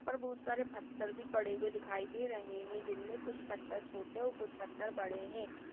ऊपर बहुत सारे पत्थर भी पड़े हुए दिखाईं दे रहे है जिनमें कुछ पत्थर छोटे और कुछ पत्थर बड़े है।